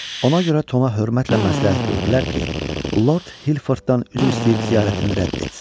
Ona görə Toma hörmətlə məsləhət gördülər ki, Lord Hilforddan üzr istəyib ziyarətini rədd etsin.